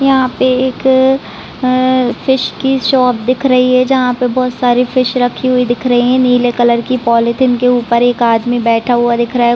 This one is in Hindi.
यहाँ पे एक आ फिश कि शॉप दिख रही है जहाँ पे बहुत सारे फिश रखी हुई दिख रही है नीले कलर कि पॉलिथीन के ऊपर एक आदमी बैठा हुआ दिख रहा है ।